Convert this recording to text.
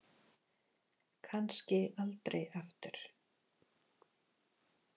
Kannski aldrei aftur.